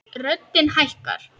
Röddin hækkar.